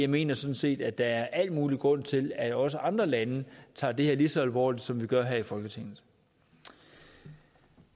mener sådan set at der er al mulig grund til at også andre lande tager det her lige så alvorligt som vi gør i folketinget